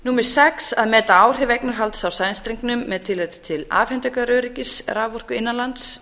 sjötta að meta áhrif eignarhalds á sæstrengnum hátt afhendingaröryggis raforku innanlands